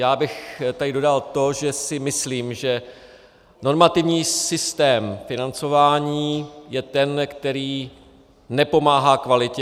Já bych tady dodal to, že si myslím, že normativní systém financování je ten, který nepomáhá kvalitě.